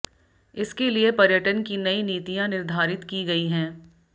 इसके लिये पर्यटन की नई नीतियाँ निर्धारित की गई हैं